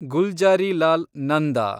Gulzarilal Nanda